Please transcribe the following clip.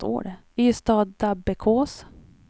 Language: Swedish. Ystadabbekås